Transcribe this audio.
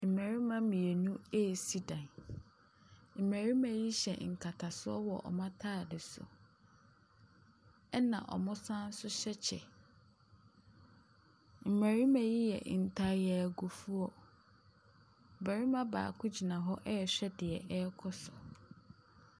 Mmarima mmienu resi dan. Mmarima yi hyɛ nkatasoɔ wɔ wɔn atadeɛ so, ɛna wɔsane nso hyɛ kyɛ. Mmarima yi yɛ ntayagufoɔ. Ɔbarima baako gyina hɔ rehwɛ deɛ ɛrekɔ so.